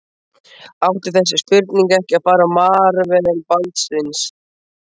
Átti þessi spurning ekki að fara á Marel Baldvins?